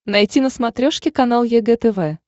найти на смотрешке канал егэ тв